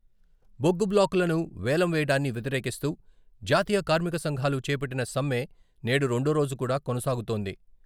బొగ్గు బ్లాకులను వేలం వేయడాన్ని వ్యతిరేకిస్తూ జాతీయ కార్మిక సంఘాలు చేపట్టిన సమ్మె నేడు రెండో రోజు కూడా కొనసాగుతోంది.